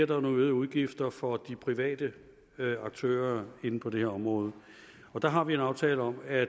der nogle øgede udgifter for de private aktører inden for det her område og der har vi en aftale om at